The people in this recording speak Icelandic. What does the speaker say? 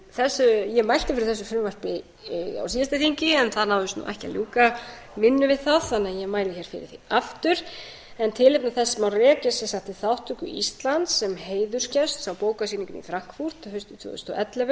síðasta þingi en það náðist ekki að ljúka árinu við það þannig að ég mæli fyrir því aftur en tilefni þess má rekja sem sagt í þátttöku íslands sem heiðursgests á bókasýningunni í frankfurt haustið tvö þúsund og ellefu